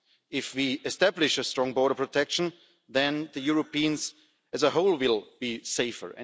If we establish a strong border protection then Europeans as a whole will be safer.